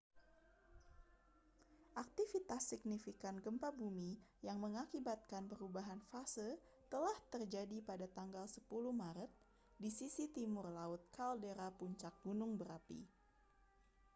aktivitas signifikan gempa bumi yang mengakibatkan perubahan fase telah terjadi pada tanggal 10 maret di sisi timur laut kaldera puncak gunung berapi